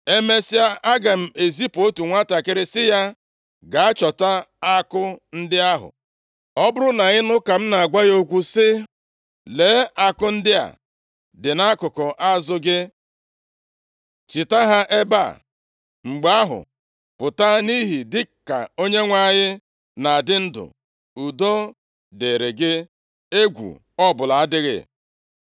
Emesịa, aga m ezipu otu nwantakịrị sị ya, ‘Gaa chọta àkụ ndị ahụ.’ Ọ bụrụ na ị nụ ka m na-agwa ya okwu sị, ‘Lee àkụ ndị a dị nʼakụkụ azụ gị, chita ha ebe a,’ mgbe ahụ, pụta nʼihi, dịka Onyenwe anyị na-adị ndụ, udo dịrị gị, egwu ọbụla adịghị.